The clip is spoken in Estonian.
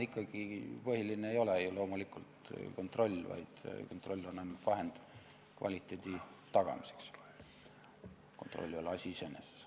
Põhiline ei ole ju loomulikult kontroll, kontroll on ainult vahend kvaliteedi tagamiseks, kontroll ei ole asi iseeneses.